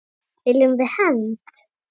Viljum við hefnd?